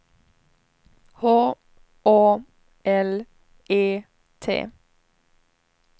H Å L E T